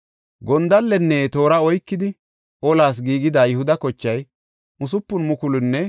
Gondallenne toora oykidi olas giigida Yihuda kochay 6,800.